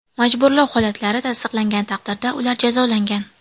Majburlov holatlari tasdiqlangan taqdirda, ular jazolangan.